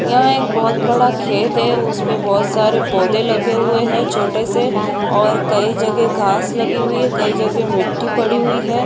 यहाँ एक बहुत बड़ा खेत है उसपे बहुत सारे पौधे लगे हुए है छोटे से और कई जगह घास लगी हुई है कई जगह मिटटी पड़ी हुई है।